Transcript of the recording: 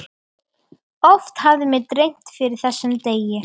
Oft hafði mig dreymt fyrir þessum degi.